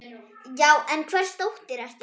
Já, en hvers dóttir ertu.?